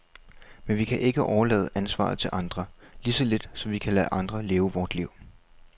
Men vi kan ikke overlade ansvaret til andre, lige så lidt som vi kan lade andre leve vort liv.